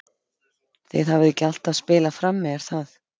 Þið hafið ekki alltaf spilað frammi er það?